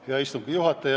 Hea istungi juhataja!